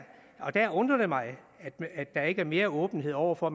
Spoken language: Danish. der undrer det mig at der ikke er mere åbenhed over for